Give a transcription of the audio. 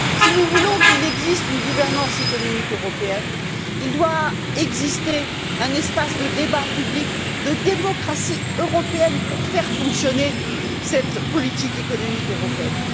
Si nous voulons qu'il existe une gouvernance économique européenne, il doit exister un espace de débat public, de démocratie européenne pour faire fonctionner cette politique économique européenne.